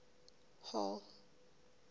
hall